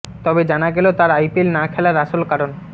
তবে জানা গেল তার আইপিএল না কেলার আসল কারন